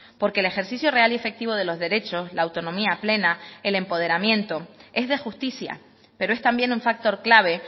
porque el ejercicio real y efectivo de los derechos la autonomía plena el empoderamiento es de justicia pero es también un factor clave